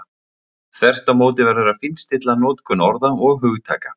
Þvert á móti verður að fínstilla notkun orða og hugtaka.